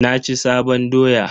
Na ci sabon doya.